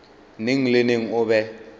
neng le neng o be